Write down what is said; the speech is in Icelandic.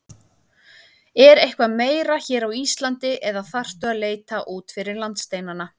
Er eitthvað meira hér á Íslandi eða þarftu að leita út fyrir landsteinana?